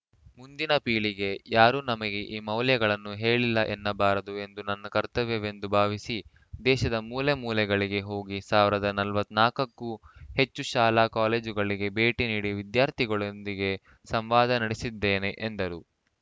ಮುಂದಿನ ಪೀಳಿಗೆ ಯಾರೂ ನಮಗೆ ಈ ಮೌಲ್ಯಗಳನ್ನು ಹೇಳಿಲ್ಲ ಎನ್ನಬಾರದು ಎಂದು ನನ್ನ ಕರ್ತವ್ಯ ವೆಂದು ಭಾವಿಸಿ ದೇಶದ ಮೂಲೆ ಮೂಲೆಗಳಿಗೆ ಹೋಗಿ ಸಾವಿರದ ನಲ್ವತ್ ನಾಲ್ಕಕ್ಕೂ ಹೆಚ್ಚು ಶಾಲಾ ಕಾಲೇಜುಗಳಿಗೆ ಭೇಟಿ ನೀಡಿ ವಿದ್ಯಾರ್ಥಿಗಳೊಂದಿಗೆ ಸಂವಾದ ನಡೆಸಿದ್ದೇನೆ ಎಂದರು